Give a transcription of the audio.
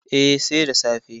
Eh, sai da safe